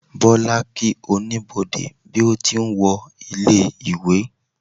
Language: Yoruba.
bola kí Oníbodè bí o ti n wo ilé ìwé